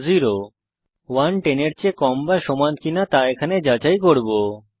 এখানে আমরা 1 10 এর চেয়ে কম বা সমান কিনা যাচাই করব